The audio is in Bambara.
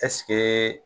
Ɛseke